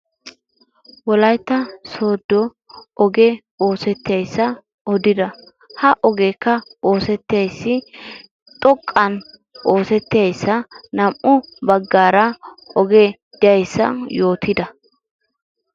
Wolaytta sooddo ogee oosettiyasa odida. Ha ogeekka oosettees. Xoqqan oosettiyasa, naam"u baggaara ogee diyasa odida.